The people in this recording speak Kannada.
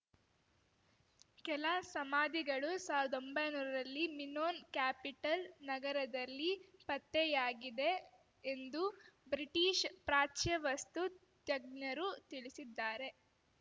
ಕೆಲ ಸಮಾಧಿಗಳು ಸಾವಿರ್ದೊಂಬೈ ನೂರರಲ್ಲಿ ಮಿನೋನ್ ಕ್ಯಾಪಿಟಲ್ ನಗರದಲ್ಲಿ ಪತ್ತೆಯಾಗಿದೆ ಎಂದು ಬ್ರಿಟೀಷ್ ಪ್ರಾಚ್ಯ ವಸ್ತು ತಜ್ಞರು ತಿಳಿಸಿದ್ದಾರೆ